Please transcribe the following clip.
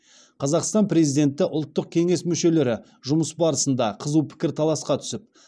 қазақстан президенті ұлттық кеңес мүшелері жұмыс барысында қызу пікірталасқа түсіп